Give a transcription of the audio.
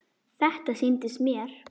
Þetta sýndist mér!